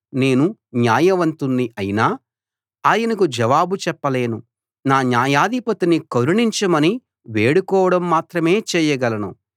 నేను న్యాయవంతుణ్ణి అయినా ఆయనకు జవాబు చెప్పలేను నా న్యాయాధిపతిని కరుణించమని వేడుకోవడం మాత్రమే చేయగలను